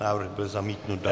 Návrh byl zamítnut.